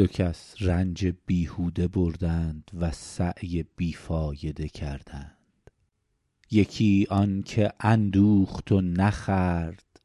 دو کس رنج بیهوده بردند و سعی بی فایده کردند یکی آن که اندوخت و نخورد